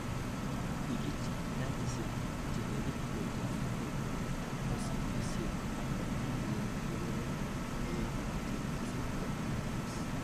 Ikich natishek chenekit kotyakak ak mosibisiek ak ielen kebeberwek che kisibto grease.